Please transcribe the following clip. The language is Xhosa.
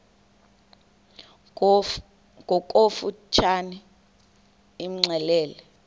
ngokofu tshane imxelele